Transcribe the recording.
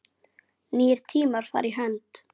Nýir tímar fara í hönd